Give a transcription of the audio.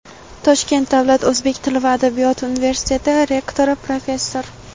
Toshkent davlat o‘zbek tili va adabiyoti universiteti rektori, professor;.